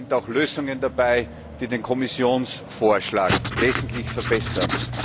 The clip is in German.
Da sind auch Lösungen dabei, die den Kommissionsvorschlag wesentlich verbessern.